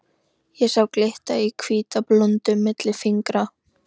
Ég sá glitta í hvíta blúndu milli fingra.